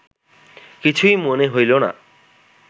কিছুই মনে হইল না